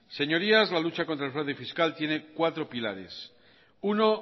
señorías la lucha contra el fraude fiscal tiene cuatro pilares uno